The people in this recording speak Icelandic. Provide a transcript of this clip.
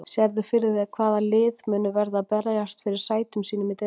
Sérðu fyrir þér hvaða lið munu verða að berjast fyrir sætum sínum í deildinni?